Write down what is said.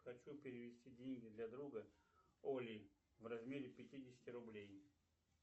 хочу перевести деньги для друга оли в размере пятидесяти рублей